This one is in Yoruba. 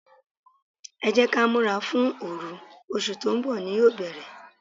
Ẹ jẹ́ kí á múra fún oru, oṣù tó ń bọ̀ ni yóò bere.